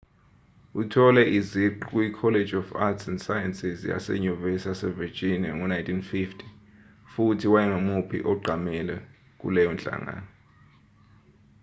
uthole iziqu kuyicollege of arts & sciences yasenyuvesi yasevirginia ngo-1950 futhi wayengumuphi oqhamile kuleyo nhlangano